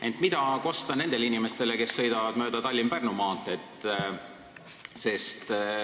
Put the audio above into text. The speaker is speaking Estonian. Ent mida kosta nendele inimestele, kes sõidavad mööda Tallinna–Pärnu maanteed?